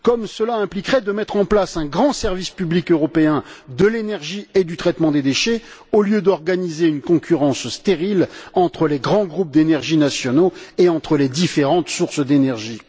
Cela impliquerait également de mettre en place un grand service public européen de l'énergie et du traitement des déchets, au lieu d'organiser une concurrence stérile entre les grands groupes d'énergie nationaux et entre les différentes sources d'énergie.